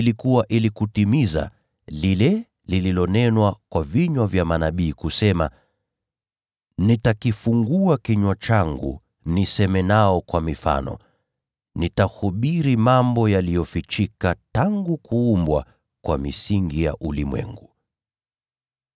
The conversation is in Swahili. Hii ilikuwa ili kutimiza lile lililonenwa kwa kinywa cha nabii aliposema: “Nitafungua kinywa changu niseme nao kwa mifano; nitahubiri mambo yaliyofichika tangu kuumbwa kwa misingi ya ulimwengu.”